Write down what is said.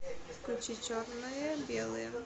включи черные белые